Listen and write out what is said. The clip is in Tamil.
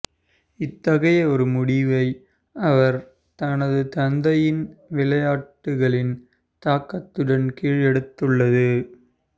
இத்தகைய ஒரு முடிவை அவர் தனது தந்தையின் விளையாட்டுகளின் தாக்கத்துடன் கீழ் எடுத்துள்ளது